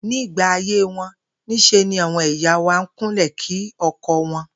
Nígbà ayé wo̩n, ní s̩e ni àwo̩n ìyá wa n kúnlè̩ kí o̩ko̩ wo̩n